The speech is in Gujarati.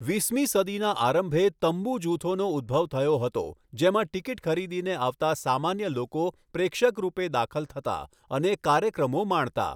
વીસમી સદીના આરંભે 'તંબુ' જૂથોનો ઉદ્ભવ થયો હતો, જેમાં ટીકીટ ખરીદીને આવતા સામાન્ય લોકો પ્રેક્ષક રૂપે દાખલ થતા અને કાર્યક્રમો માણતા.